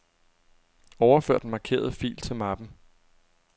Overfør den markerede fil til mappen.